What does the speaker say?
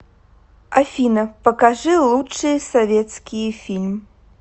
афина покажи лучшие советские фильм